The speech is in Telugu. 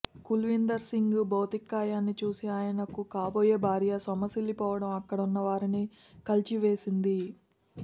కుల్వీందర్ సింగ్ భౌతికకాయాన్ని చూసి ఆయనకు కాబోయే భార్య సొమ్మసిల్లిపడిపోవడం అక్కడున్న వారిని కలచివేసింది